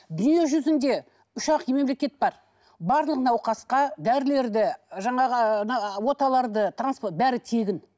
дүниежүзінде үш ақ мемлекет бар барлық науқасқа дәрілерді жаңағы оталарды бәрі тегін